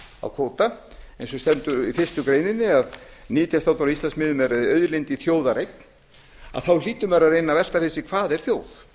á kvóta eins og stendur í fyrstu grein að nytjastofnar á íslandsmiðum eru auðlind í þjóðareign þá hlýtur maður að reyna að velta fyrir sér hvað er þjóð